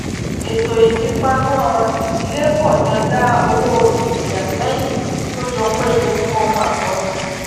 ètò ìfipamọ idílé pọ jọ dá owó ìfeyà sẹyìn tó jọ péye fún ọmọ àkọbí